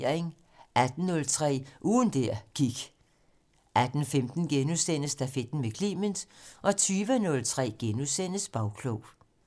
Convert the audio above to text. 18:03: Ugen der gik 18:15: Stafetten med Clement * 20:03: Bagklog *